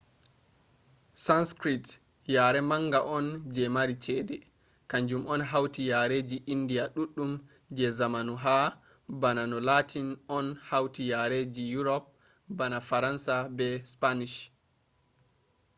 sanskrit yare manga on je mari chede kanjum on hauti yareji indiya ɗuɗɗum je zamanu ha bana no latin on hauti yareji yurop bana faransa be spanish